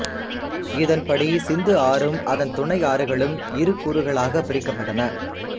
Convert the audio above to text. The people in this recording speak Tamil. இதன் படி சிந்து ஆறும் அதன் துணை ஆறுகளும் இரு கூறுகளாக பிரிக்கப்பட்டன